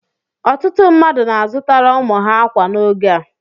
Ọtụtụ mmadụ na-azutara ụmụ ha ákwà n'oge a